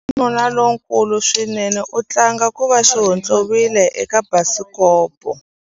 Wanuna lonkulu swinene u tlanga ku va xihontlovila eka bayisikopo.